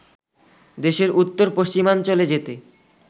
দেশের উত্তর পশ্চিমাঞ্চলে যেতে